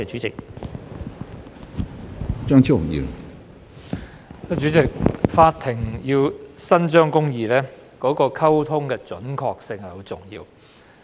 主席，法庭要伸張公義，溝通的準確性很重要。